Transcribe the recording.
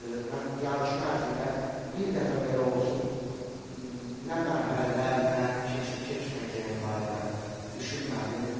Mən yarışma ərzində bir dəfə belə olsun nə mərhələlər, nə keçib-keçməyəcəyim barədə düşünmədim.